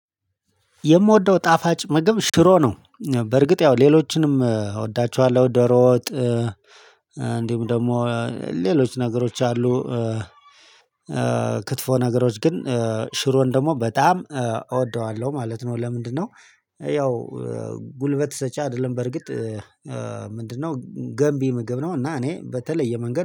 የምወደው ጣፋጭ ምግብ ሽሮ ነው። በርግጥ ያው ሌሎችንም እወዳቸዋለሁ ደሮ ወጥ እንዲሁም ደግሞ ሌሎች ነገሮች አሉ። ክትፎ ነገሮች ግን ሽሮን ደግሞ በጣም እወደዋለሁ ማለት ነው። ለምንድነው? ያው ጉልበት ሰጪ አይደለም በርግጥ። ምንድነው ገንቢ ምግብ ነው። እና እኔ በተለየ መንገድ